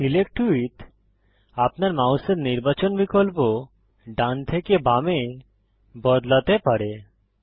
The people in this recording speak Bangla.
সিলেক্ট উইথ আপনার মাউসের নির্বাচন বিকল্প ডান থেকে বামে বদলাতে পারে